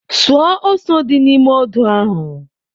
Suo ose dị n'ime odo ahụ.